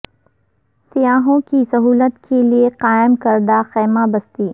سیاحوں کی سہولت کے لیے قائم کردہ خیمہ بستی